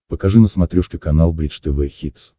покажи на смотрешке канал бридж тв хитс